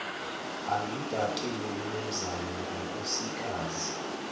angidakiwe mnumzane ngunkosikazi